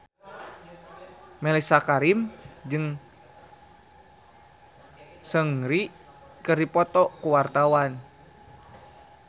Mellisa Karim jeung Seungri keur dipoto ku wartawan